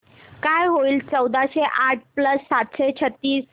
काय होईल चौदाशे आठ प्लस सातशे छ्त्तीस